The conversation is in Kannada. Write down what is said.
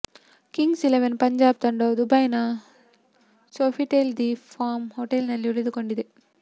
ಕಿಂಗ್ಸ್ ಇಲೆವೆನ್ ಪಂಜಾಬ್ ತಂಡವು ದುಬೈನ ಸೋಫಿಟೆಲ್ ದಿ ಪಾಮ್ ಹೊಟೇಲ್ನಲ್ಲಿ ಉಳಿದುಕೊಂಡಿದೆ